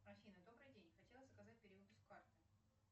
афина добрый день хотела заказать перевыпуск карты